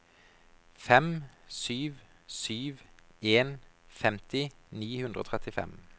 fem sju sju en femti ni hundre og trettifem